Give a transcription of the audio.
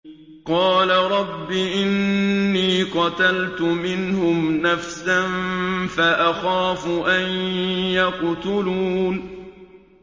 قَالَ رَبِّ إِنِّي قَتَلْتُ مِنْهُمْ نَفْسًا فَأَخَافُ أَن يَقْتُلُونِ